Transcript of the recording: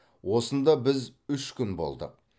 осында біз үш күн болдық